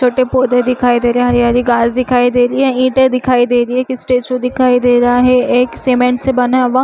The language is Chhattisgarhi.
छोटे पौधे दिखाई दे रहे है हरी -हरी घास दिखाई दे रही है ईटे दिखाई दे रही है एक स्टैचू दिखाई दे रहा है एक सीमेंट से बना हुआ--